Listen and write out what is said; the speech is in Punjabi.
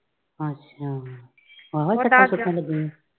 ਅੱਛਾ ਆਹੋ ਫਿਰ ਪੁਛਣ ਲੱਗੀ ਸੀ।